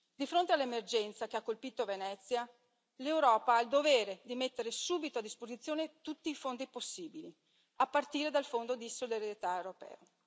Di fronte all'emergenza che ha colpito Venezia l'Europa ha il dovere di mettere subito a disposizione tutti i fondi possibili, a partire dal Fondo di solidarietà europeo.